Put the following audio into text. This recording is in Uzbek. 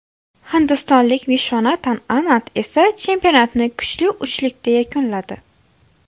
Hindistonlik Vishvanatan Anand esa chempionatni kuchli uchlikda yakunladi.